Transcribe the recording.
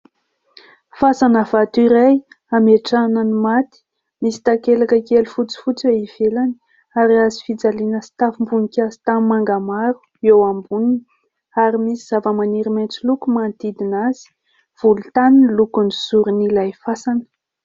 Fasana vato iray, hametrahana ny maty. Misy takelaka kely fotsifotsy eo ivelany, ary hazofijaliana sy tavim-boninkazo tanimanga maro eo amboniny ary misy zavamaniry maintso loko manodidina azy. Volontany ny lokon'ny zoron'ilay fasana.